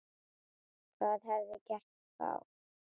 Hvað hefði gerst þá?